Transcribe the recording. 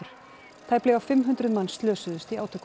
tæplega fimm hundruð manns slösuðust í átökunum